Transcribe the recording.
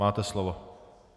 Máte slovo.